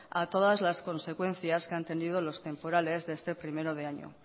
a todas las consecuencias que han tenido los temporales de este primero de año